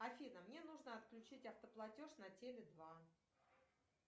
афина мне нужно отключить автоплатеж на теле два